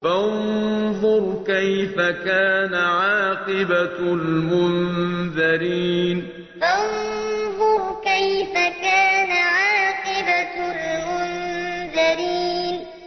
فَانظُرْ كَيْفَ كَانَ عَاقِبَةُ الْمُنذَرِينَ فَانظُرْ كَيْفَ كَانَ عَاقِبَةُ الْمُنذَرِينَ